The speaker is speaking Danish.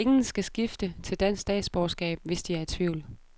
Ingen skal skifte til dansk statsborgerskab, hvis de er i tvivl.